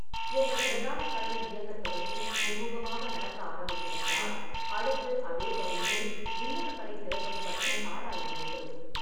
உங்கள் பிரதான கடை இயங்கத் தொடங்கி சுமூகமாக நடக்க ஆரம்பித்துவிட்டால், அடுத்து அதே பகுதியில் இன்னொரு கடை திறப்பது பற்றி ஆராய வேண்டும்.